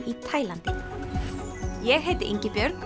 í Taílandi ég heiti Ingibjörg